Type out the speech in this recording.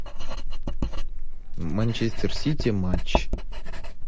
манчестер сити матч